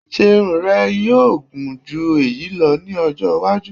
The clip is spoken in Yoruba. Ṣe irun rẹ yoo gun ju eyi lọ ni ọjọ iwaju?